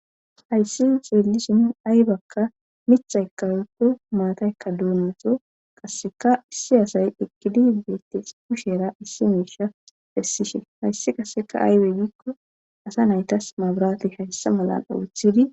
hayssi xeellisin aybakka mithay kawutu maataykka duunato qasseka issi asay ekkidi beettes kushera issi miisha pessishin hayssi qasseka aayweggikko asa naytas mabrati hayssa malan oothidi